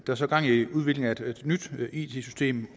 er så gang i udviklingen af et nyt it system